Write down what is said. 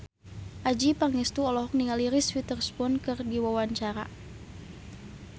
Adjie Pangestu olohok ningali Reese Witherspoon keur diwawancara